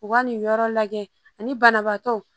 U ka nin yɔrɔ lajɛ ani banabaatɔ